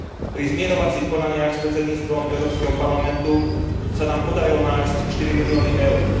Pri zmierovacích konaniach s Predsedníctvom Európskeho parlamentu sa nám podarilo nájsť 4 milióny EUR.